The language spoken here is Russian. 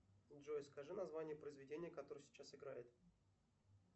джой скажи название произведения которое сейчас играет